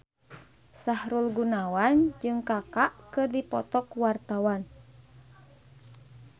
Sahrul Gunawan jeung Kaka keur dipoto ku wartawan